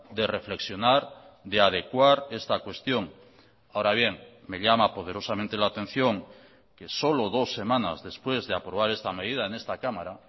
de reflexionar de adecuar esta cuestión ahora bien me llama poderosamente la atención que solo dos semanas después de aprobar esta medida en esta cámara